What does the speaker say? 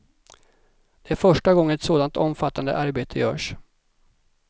Det är första gången ett sådant omfattande arbete görs.